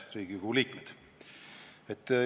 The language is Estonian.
Head Riigikogu liikmed!